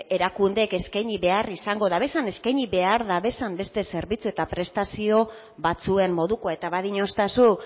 erakundeek eskaini behar izango duten eskaini behar duten beste zerbitzu eta prestazioen modukoa eta badiostazu